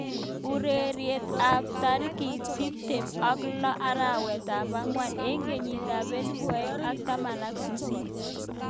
Urerenet ab tarik tip tem ak lo arawet ab angwan eng kenyit ab elipu aeng ak taman ak sisit.